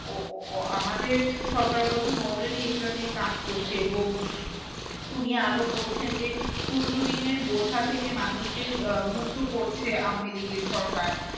আমাদের সরকার প্রধান already এগুলো নিয়ে কাজ করছে এবং উনি আরো বলছেন যে ঋণের বোঝা থেকে মানুষকে আহ মুক্ত করছে সরকার।